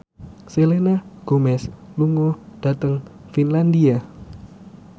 Selena Gomez lunga dhateng Finlandia